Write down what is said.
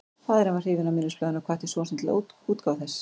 Faðirinn varð hrifinn af minnisblaðinu og hvatti son sinn til útgáfu þess.